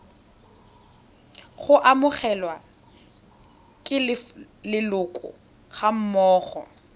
go amogelwa ke leloko gammogo